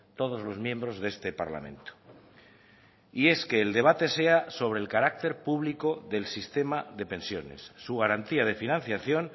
todos los miembros de este parlamento y es que el debate sea sobre el carácter público del sistema de pensiones su garantía de financiación